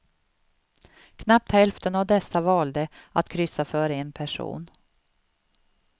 Knappt hälften av dessa valde att kryssa för en person.